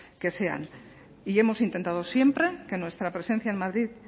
que sean y hemos intentado siempre que nuestra presencia en madrid